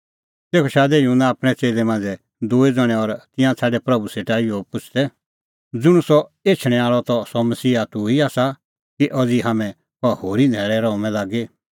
तेखअ शादै युहन्ना आपणैं च़ेल्लै मांझ़ै दूई ज़ण्हैं और तिंयां छ़ाडै प्रभू सेटा इहअ पुछ़दै ज़ुंण सह एछणैं आल़अ त सह मसीहा तूह ई आसा कि अज़ी हाम्हैं कहा होरी न्हैल़ै रहूंमै लागी